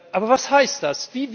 Aber was heißt das?